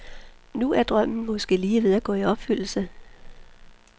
Nu er drømmen måske lige ved at gå i opfyldelse.